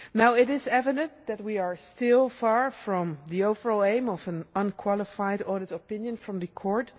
It is evident that we are still far from the overall aim of an unqualified audit opinion from the Court.